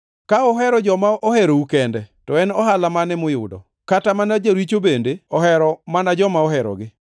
“Ka uhero joma oherou kende, to en ohala mane muyudo? Kata mana joricho bende ohero mana joma oherogi.